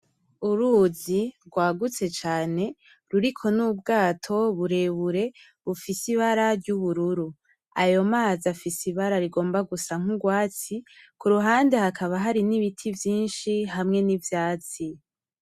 Uruzi rwagutse cane ruriko n’ubwato burebure bufise ibara ry’ubururu. Ayo mazi afise ibara rigomba gusa n’urwatsi ku ruhande hakaba hari n’ibiti vyinshi hamwe n’ivyatsi.